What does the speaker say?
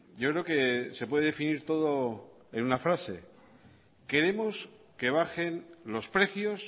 yo creo que se puede definir todo en una frase queremos que bajen los precios